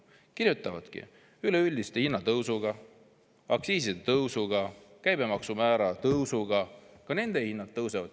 Kirjutavadki, et üleüldise hinnatõusu, aktsiiside tõusu ja käibemaksumäära tõusuga ka nende hinnad tõusevad.